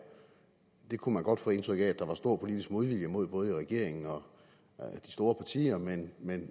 det kunne man godt få indtryk af at der var stor politisk modvilje mod både i regeringen og de store partier men men